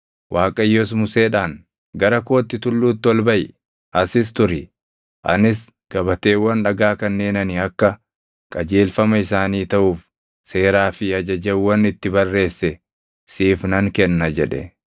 Waaqayyos Museedhaan, “Gara kootti tulluutti ol baʼi; asis turi; anis gabateewwan dhagaa kanneen ani akka qajeelfama isaanii taʼuuf seeraa fi ajajawwan itti barreesse siif nan kenna” jedhe.